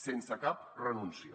sense cap renúncia